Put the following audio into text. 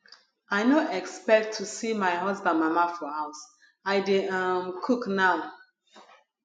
i no expect to see my husband mama for house i dey um cook now